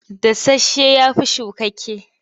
Dasasshe ya fi shukakke.